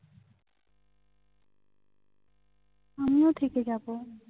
আমিও থেকে যাবো